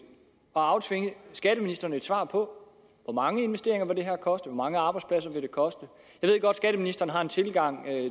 at aftvinge skatteministeren et svar på hvor mange investeringer det her vil koste hvor mange arbejdspladser jeg ved godt at skatteministerens tilgang